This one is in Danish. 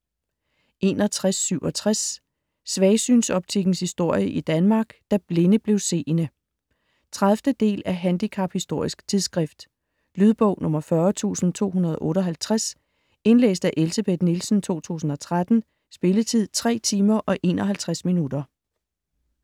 61.67 Svagsynsoptikkens historie i Danmark: Da "blinde" blev seende 30. del af Handicaphistorisk tidsskrift. Lydbog 40258 Indlæst af Elsebeth Nielsen, 2013. Spilletid: 3 timer, 51 minutter.